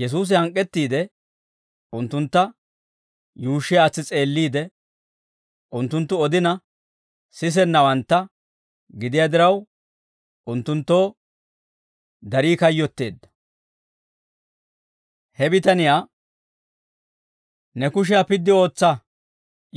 Yesuusi hank'k'ettiide, unttuntta yuushshi aatsi s'eelliide, unttunttu odina sisennawantta gidiyaa diraw, unttunttoo darii kayyotteedda; he bitaniyaa, «Ne kushiyaa piddi ootsa»